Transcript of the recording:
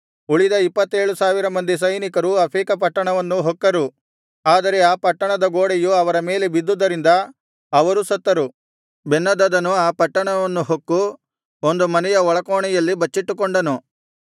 ಉಳಿದ ಇಪ್ಪತ್ತೇಳು ಸಾವಿರ ಮಂದಿ ಸೈನಿಕರು ಅಫೇಕ ಪಟ್ಟಣವನ್ನು ಹೊಕ್ಕರು ಆದರೆ ಆ ಪಟ್ಟಣದ ಗೋಡೆಯು ಅವರ ಮೇಲೆ ಬಿದ್ದುದರಿಂದ ಅವರೂ ಸತ್ತರು ಬೆನ್ಹದದನು ಆ ಪಟ್ಟಣವನ್ನು ಹೊಕ್ಕು ಒಂದು ಮನೆಯ ಒಳಕೋಣೆಯಲ್ಲಿ ಬಚ್ಚಿಟ್ಟುಕೊಂಡನು